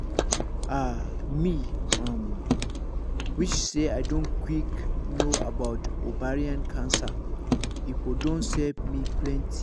ah me um wish say i don quick know about ovarian cancer e for don save me plenty